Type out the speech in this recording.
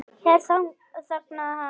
Hér þagnaði hann.